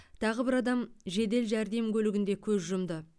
тағы бір адам жедел жәрдем көлігінде көз жұмды